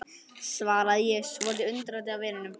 svaraði ég, svolítið undrandi á vininum.